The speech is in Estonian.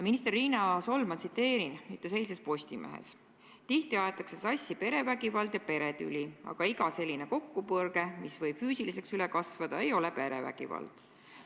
Minister Riina Solman ütles eilses Postimehes: "Tihti aetakse sassi perevägivald ja peretüli, aga iga selline kokkupõrge, mis võib füüsiliseks üle kasvada, ei ole perevägivald.